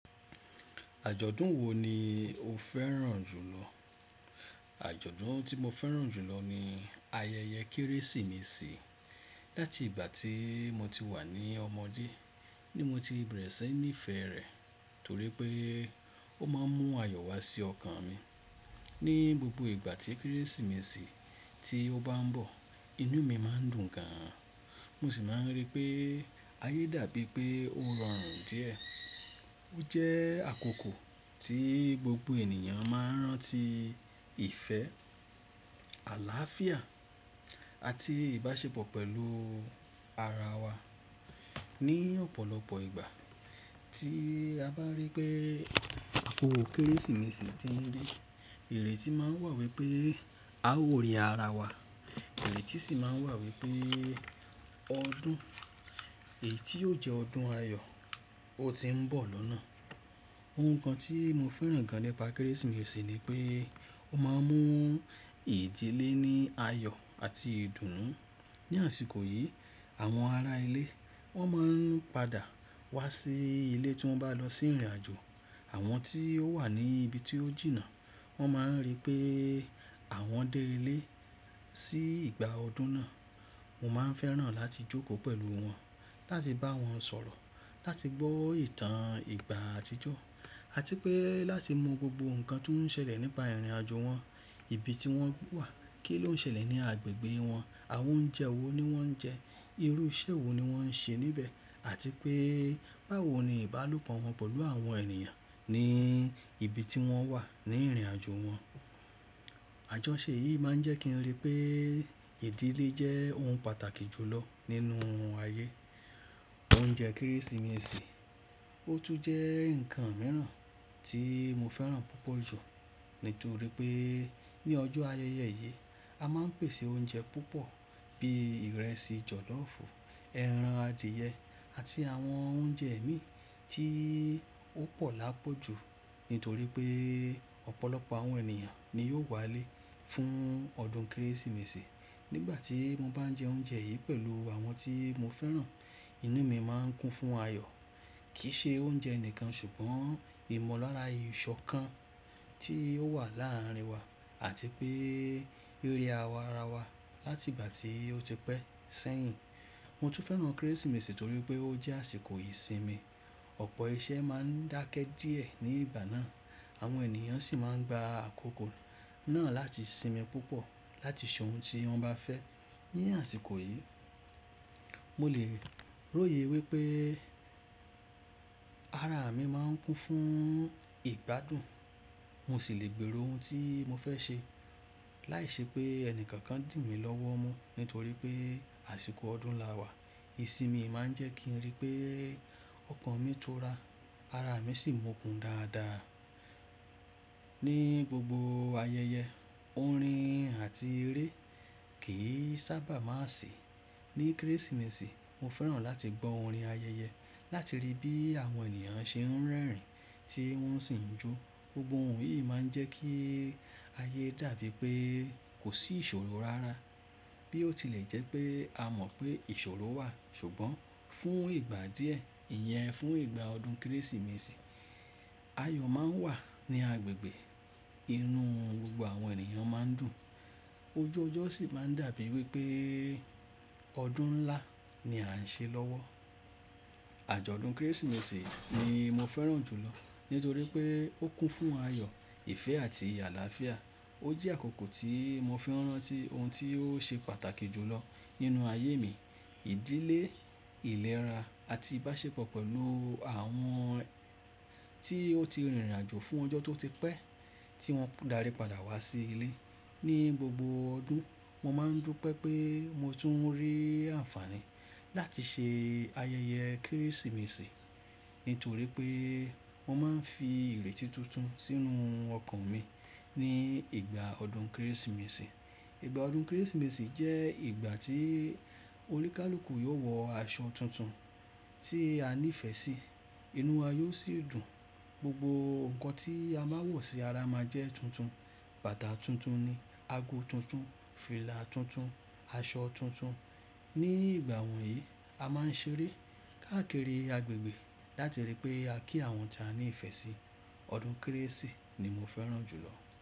Àjọ̀dún wo ni o fẹ́ràn jù lọ? Àjọ̀dún tí mo fẹ́ràn jù lọ ni ayẹyẹ Kérésìmesì. Láti ìgbà tí mo ti wà ní ọmọdé, ni mo ti bẹ̀rẹ̀ sí níí fẹ́ rẹ̀ torí pé ó máa ń mú ayọ̀ wá sí ọkàn mi. Ni gbogbo ìgbà tí Kérésìmesì ti ó bá ń bọ̀, inú mi máa ń dùn gan, mo sì máa ń rí pé ayé dàbí pé ó rọrùn díẹ̀. Ó jẹ́ àkókò tí gbogbo ènìyàn máa ń rántí ìfẹ́, àláàfíà àti ìbáṣepọ̀ pẹ̀lú ara wa. Ni ọ̀pọ̀lọpọ̀ ìgbà tí a bá rí pé àpò Kérésìmesì ti ń dé, ìrètí máa ń wà wípé a ó rí ara wa, ìrètí sì máa ń wà wípé ọdún èyí tí yóò jẹ́ ọdún ayọ̀ ó ti ń bọ̀ lọ́nà. Ohun kan tí mo fẹ́ràn gan nípa Kérésìmesì ni pé ó máa ń mú ìdílé ní ayọ̀ àti ìdùnnú. Ni àsìkò yìí, àwọn ará ilé wọ́n máa ń padà wá sí ilé tí wọ́n bá lọ sí ìrìnàjò. Àwọn tí ó wà ní ibi tí ó jìnnà, wọ́n máa ń rí pé àwọn dé ilé sí ìgbà ọdún náà. Mo máa ń fẹ́ràn láti jókòó pẹ̀lú wọn, láti bá wọn sọ̀rọ̀, láti gbọ́ ìtàn ìgbà àtijọ́ àti pé láti mọ gbogbo nǹkan tó ń ṣẹlẹ̀ nípa ìrìnàjò wọn, ibi tí wọ́n wà, kí ló ń ṣẹlẹ̀ ní agbègbè wọn, àwọn oúnjẹ wo ni wọ́n ń jẹ, irú iṣẹ́ wo ni wọ́n ń ṣe níbẹ̀ àti pé báwo ni ìbálòpọ̀ wọn pẹ̀lú àwọn ènìyàn ní ibi tí wọ́n wà ní ìrìnàjò wọn. Àjọṣe yìí máa ń jẹ́ kí n rí pé ìdílé jẹ́ ohun pàtàkì jù lọ nínú ayé. Oúnjẹ Kérésìmesì, ó tún jẹ́ nǹkan mìíràn tí mo fẹ́ràn púpọ̀ jù nítorí pé ní ọjọ́ ayẹyẹ yìí, a máa ń pèsè oúnjẹ púpọ̀ bíi ìrẹsì jọ̀loofu, ẹran adìẹ àti àwọn oúnjẹ ẹ̀mí tí ó pọ̀ lápọ̀ jù nítorí pé ọ̀pọ̀lọpọ̀ àwọn ènìyàn ni yóò wálé fún ọdún Kérésìmesì. Nígbà tí mo bá ń jẹ oúnjẹ yìí pẹ̀lú àwọn tí mo fẹ́ràn, inú mi máa ń kún fún ayọ̀. Kì í ṣe oúnjẹ nìkan ṣùgbọ́n ìmọ̀lára ìṣọ̀kan tí ó wà láàárín wa àti pé ríra ara wa láti ìgbà tí ó ti pẹ́ sẹ́yìn. Mo tún fẹ́ràn Kérésìmesì torí pé ó jẹ́ àsìkò ìsinmi. Ọ̀pọ̀ iṣẹ́ máa ń dákẹ́ díẹ̀ ní ìgbà náà, àwọn ènìyàn sì máa ń gba àkókò náà láti sinmi púpọ̀ láti ṣe ohun tí wọ́n bá fẹ́ ní àsìkò yìí. Mo lè ròyè wípé ara mi máa ń kún fún ìgbádùn, mo sì lè gbèrò ohun tí mo fẹ́ ṣe láìṣe pé ẹnìkankan dì mí lọ́wọ́ mu nítorí pé àsìkò ọdún la wà. Ìsinmi máa ń jẹ́ kí n rí pé ọkàn mi tó ra, ara mi sì mokùn dáadáa. Ni gbogbo ayẹyẹ, orin àti eré kì í sábà máa sì ní Kérésìmesì. Mo fẹ́ràn láti gbọ́ orin ayẹyẹ láti rí bí àwọn ènìyàn ṣe ń rẹ́rìn-ín tí wọ́n sì ń jó. Gbogbo òun yìí máa ń jẹ́ kí ayé dàbí pé kò sí ìṣòro rárá bí ó tilẹ̀ jẹ́ pé a mọ̀ pé ìṣòro wà ṣùgbọ́n fún ìgbà díẹ̀, ìyẹn fún ìgbà ọdún Kérésìmesì, ayọ̀ máa ń wà ní agbègbè. Inú gbogbo àwọn ènìyàn máa ń dùn, ojú ọjọ́ sì máa ń dàbí wípé ọdún ńlá ni à ń ṣe lọ́wọ́. Àjọ̀dún Kérésìmesì ni mo fẹ́ràn jù lọ nítorí pé ó kún fún ayọ̀, ìfẹ́ àti àlàáfíà. Ó jẹ́ àkókò tí mo fi n rántí ohun tí ó ṣe pàtàkì jù lọ nínú ayé mi, ìdílé, ìlera àti ìbáṣepọ̀ pẹ̀lú àwọn tí ó ti rìnrìnàjò fún ọjọ́ tó ti pẹ́ tí wọ́n darí padà wá sí ilé. Ni gbogbo ọdún, mo máa ń dupe pé mo tún ń rí àǹfààní láti ṣe ayẹyẹ Kérésìmesì nítorí pé mo máa ń fi ìrètí tuntun sínú ọkàn mi ní ìgbà ọdún Kérésìmesì. Ìgbà ọdún Kérésìmesì jẹ́ ìgbà tí oníkálùkù yóò wọ aṣọ tuntun tí a nífẹ̀ẹ́ sí, inú wa yóò sì dùn. Gbogbo nǹkan tí a máa wọ̀ sí ara máa jẹ́ tuntun; bàtà tuntun ni, ago tuntun, fìlà tuntun, aṣọ tuntun. Ni ìgbà wọ̀nyí, a máa ń ṣeré káàkiri agbègbè láti rí pé a kí àwọn tí a nífẹ̀ẹ́ sí. Ọdún Kérésì ni mo fẹ́ràn jù lọ.